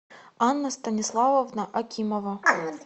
анна станиславовна акимова